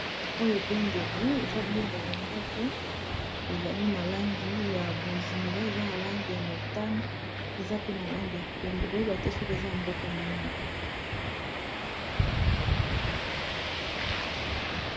Oyo bendele, eza bendele moko ezali na langi ya bozinga, eza na langi ya motane, eza pe na langi ya pembe, koyeba te soki eza mboka mini.